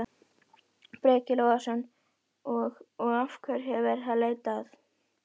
Breki Logason: Og, og hverju er verið að leita að?